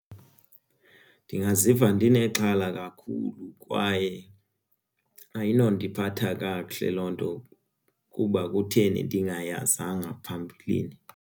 Ndingaziva ndinexhala kakhulu kwaye ayinondiphatha kakuhle loo nto kuba kutheni ndingayazanga phambilini.